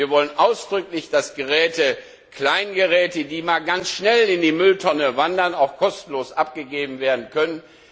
Wir wollen ausdrücklich, dass Kleingeräte, die mal ganz schnell in die Mülltonne wandern, auch kostenlos abgegeben werden können.